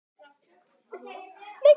En konan hans Dóra heyrði.